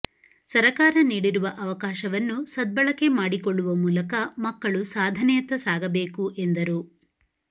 ಸರಕಾರ ನೀಡಿರುವ ಅವಕಾಶವನ್ನು ಸದ್ಬಳಕೆ ಮಾಡಿಕೊಳ್ಳುವ ಮೂಲಕ ಮಕ್ಕಳು ಸಾಧನೆಯತ್ತ ಸಾಗಬೇಕು ಎಂದರು